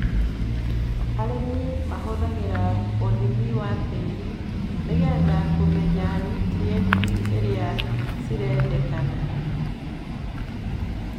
Arĩmi mahũthagĩra ũhimi wa tĩri nĩgetha kũmenya niutrienti iria cirendekana.